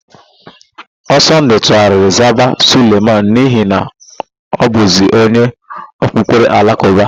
Ọsọndụ tugharịrị zaba Suleman n'ihi na ọ bụzi onye okpukpere Alakụba.